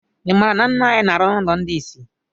I maara na ńnà anyị na arụ n' ụlọ ndị isi?